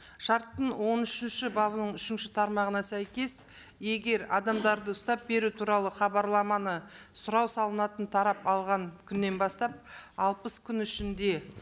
шарттың он үшінші бабының үшінші тармағына сәйкес егер адамдарды ұстап беру туралы хабарламаны сұрау салынатын тарап алған күннен бастап алпыс күн ішінде